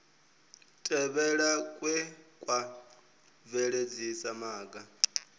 tevhelwa kwe kwa bveledzisa maga